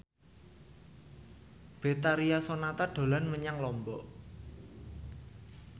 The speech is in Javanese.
Betharia Sonata dolan menyang Lombok